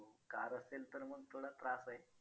Car असेल तर मग थोडा त्रास आहे.